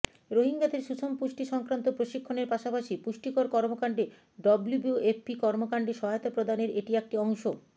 রোহিঙ্গাদের সুষম পুষ্টি সংক্রান্ত প্রশিক্ষণের পাশাপাশি পুষ্টিকর কর্মকান্ডে ডব্লিউএফপি কর্মকান্ডে সহায়তা প্রদানের এটি একটি অংশ